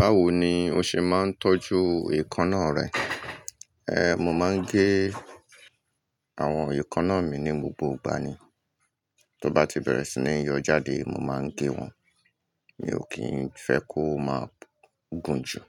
Báwo ni o ṣe máa ń tọ́jú èékánná rẹ? Ẹ̀, mo máa ń gé àwọn èékánná mi ní gbogbo ìgbà ni. Tó bá ti bẹ̀rẹ̀ sí ní yọ jáde, mo máa ń gé wọn. Mi ò kì í fẹ́ kó má gùn jù,